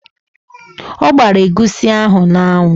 Ọ gbara egusi ahụ n'anwụ.